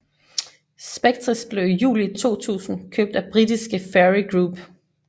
Spectris blev i juli 2000 købt af britiske Fairey Group Ltd